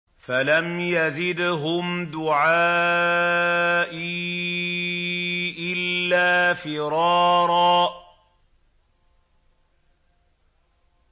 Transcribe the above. فَلَمْ يَزِدْهُمْ دُعَائِي إِلَّا فِرَارًا